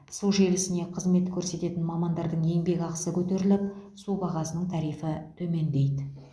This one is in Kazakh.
су желісіне қызмет көрсететін мамандардың еңбекақысы көтеріліп су бағасының тарифі төмендейді